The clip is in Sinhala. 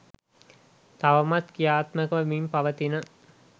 තවමත් ක්‍රියාත්මක වෙමින් පවතින